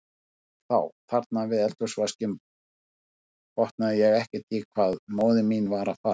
En þá, þarna við eldhúsvaskinn, botnaði ég ekkert í hvað móðir mín var að fara.